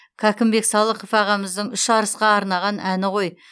кәкімбек салықов ағамыздың үш арысқа арнаған әні ғой